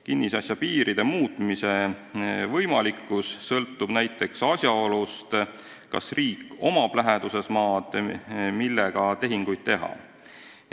Kinnisasja piiride muutmise võimalikkus sõltub näiteks asjaolust, kas riigil on läheduses maad, millega tehinguid teha.